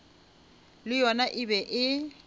le yona e be e